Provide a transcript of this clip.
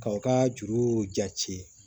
K'aw ka juru jati